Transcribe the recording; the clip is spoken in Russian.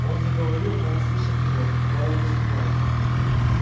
он заговорил но услышав его пауэлл застонал